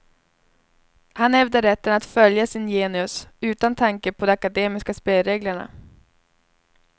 Han hävdar rätten att följa sin genius utan tanke på de akademiska spelreglerna.